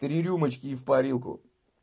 три рюмочки и в парилку